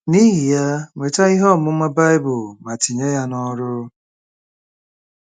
N’ihi ya, nweta ihe ọmụma Bible ma tinye ya n’ọrụ.